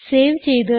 save ചെയ്യുക